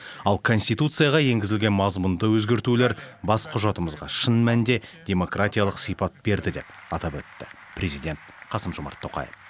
ал конституцияға енгізілген мазмұнды өзгертулер бас құжатымызға шын мәнінде демократиялық сипат берді деп атап өтті президент қасым жомарт тоқаев